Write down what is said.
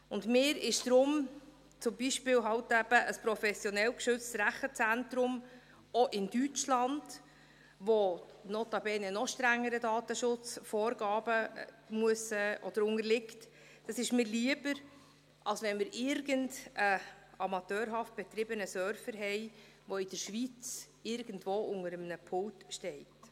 Deshalb ist mir halt auch ein professionell geschütztes Rechenzentrum, zum Beispiel auch in Deutschland, lieber, das notabene noch strengeren Datenschutzvorgaben unterliegt, als wenn wir irgendeinen amateurhaft betriebenen Server haben, der in der Schweiz irgendwo unter einem Pult steht.